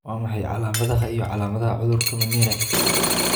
Waa maxay calaamadaha iyo calaamadaha cudurka Mnire?